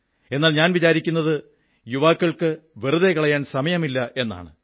എന്നാൽ ഞാൻ വിചാരിക്കുന്നത് യുവാക്കൾക്ക് വെറുതെ കളയാൻ സമയമില്ല എന്നാണ്